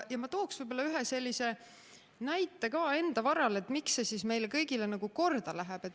Ma toon ühe näite ka enda varal, miks see eelnõu meile kõigile korda läheb.